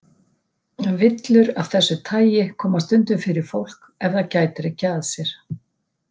Villur af þessu tagi koma stundum fyrir fólk ef það gætir ekki að sér.